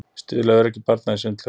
Stuðli að öryggi barna í sundlaugum